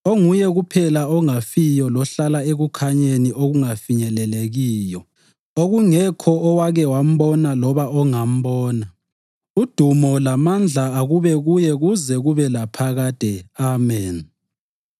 onguye kuphela ongafiyo lohlala ekukhanyeni okungafinyelelekiyo, okungekho owake wambona loba ongambona. Udumo lamandla akube kuye kuze kube laphakade. Ameni.